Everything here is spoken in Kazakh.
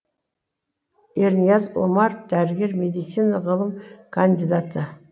ернияз омаров дәрігер медицина ғылым кандидаты